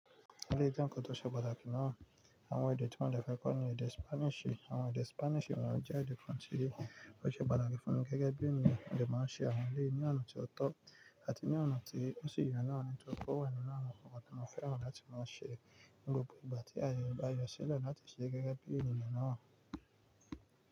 Èléyìí jẹ́ nkan tó ṣe pàtàkì náà, àwọn èdè tí mo de fẹ́ kọ́ ni èdè Spanish. Àwọn èdè Spanish wọ́n jẹ́ èdè country, bó ti ṣe pàtàkì fún mi gẹ́gẹ́ bí ènìyàn, mo lè máa ń ṣe àwọn lé ní ọ̀nà tí ó tọ́ àti ní ọ̀nà tí ó sì yọ ní àwọn ètò kọ̀ wà nínú àwọn ìfọkàntán. Mo fẹ́ràn láti máa ń ṣe gbogbo ìgbà tí ayọ̀ bá yọ sílẹ̀ láti ṣe gẹ́gẹ́ bí ènìyàn náà.